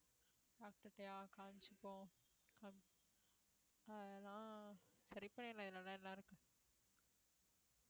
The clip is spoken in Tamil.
doctor ட்டயா காமிச்சப்போம் அதெல்லாம் சரி பண்ணிரலாம் இருக்கு